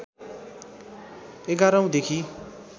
११ औं देखि